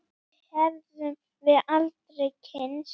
Þá hefðum við aldrei kynnst